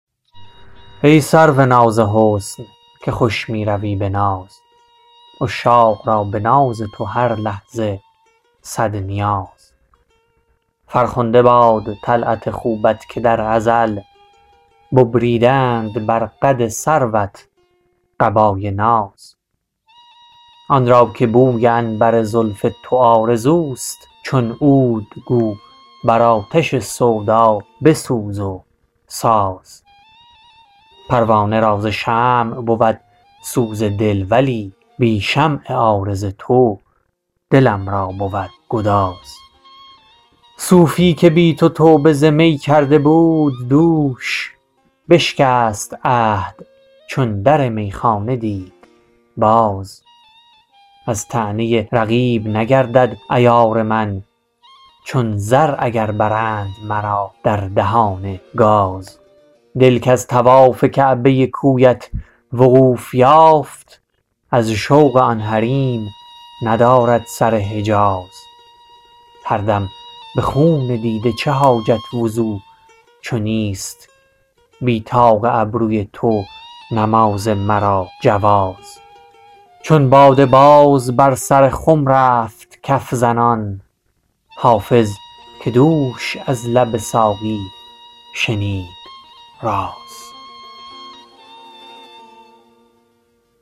ای سرو ناز حسن که خوش می روی به ناز عشاق را به ناز تو هر لحظه صد نیاز فرخنده باد طلعت خوبت که در ازل ببریده اند بر قد سروت قبای ناز آن را که بوی عنبر زلف تو آرزوست چون عود گو بر آتش سودا بسوز و ساز پروانه را ز شمع بود سوز دل ولی بی شمع عارض تو دلم را بود گداز صوفی که بی تو توبه ز می کرده بود دوش بشکست عهد چون در میخانه دید باز از طعنه رقیب نگردد عیار من چون زر اگر برند مرا در دهان گاز دل کز طواف کعبه کویت وقوف یافت از شوق آن حریم ندارد سر حجاز هر دم به خون دیده چه حاجت وضو چو نیست بی طاق ابروی تو نماز مرا جواز چون باده باز بر سر خم رفت کف زنان حافظ که دوش از لب ساقی شنید راز